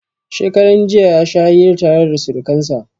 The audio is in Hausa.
Shekaran jiya ya sha hira tare da surkansa.